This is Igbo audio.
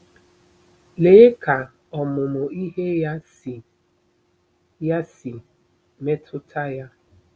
Lee ka ọmụmụ ihe ya si ya si metụta ya!